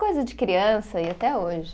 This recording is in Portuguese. Coisa de criança e até hoje.